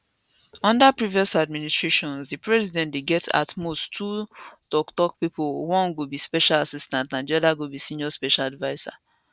unda previous administrations di president dey get at most two toktok pipo one go be special assistant and di oda go be senior special adviser